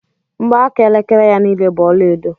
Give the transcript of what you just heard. Mgbaaka elekere ya niile bú ọlaedo